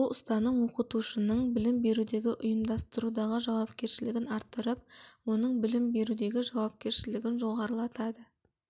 бұл ұстаным оқытушының білім берудегі ұйымдастырудағы жауапкершілігін арттырып оның білім берудегі жауапкершілігін жоғарылатады